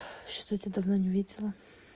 что-то тебя давно не видела